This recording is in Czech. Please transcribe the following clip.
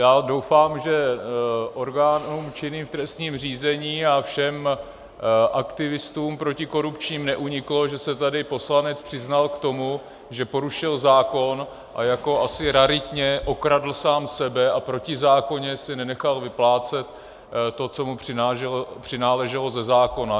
Já doufám, že orgánům činným v trestním řízení a všem aktivistům protikorupčním neuniklo, že se tady poslanec přiznal k tomu, že porušil zákon a jako asi raritně okradl sám sebe a protizákonně si nenechal vyplácet to, co mu přináleželo ze zákona.